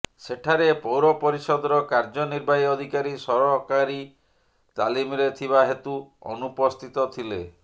ସେଠାରେ ପୌର ପରିଷଦର କାର୍ଯ୍ୟ ନିର୍ବାହୀ ଅଧିକାରୀ ସରକାରୀ ତାଲିମରେ ଥିବା ହେତୁ ଅନୁପସ୍ଥିତ ଥିଲେ